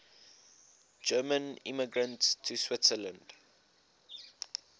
german immigrants to switzerland